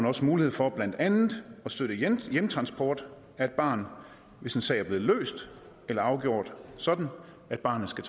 også mulighed for blandt andet at støtte hjemtransport af et barn hvis en sag er blevet løst eller afgjort sådan at barnet skal